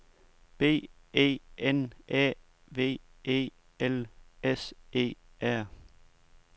B E N Æ V E L S E R